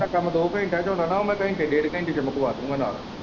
ਜਿਹੜਾ ਕੰਮ ਦੋ ਘੰਟਿਆ ਚ ਹੋਣਾ ਨਾ ਉਹ ਮੈਂ ਘੰਟੇ ਡੇਢ ਘੰਟੇ ਚ ਮੁੱਕਵਾ ਦੂਗਾ ਨਾਲ਼।